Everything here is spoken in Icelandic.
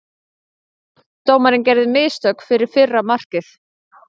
Dómarinn gerði mistök fyrir fyrra markið.